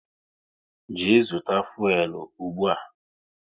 Jee zụta fuelu ụgbụa!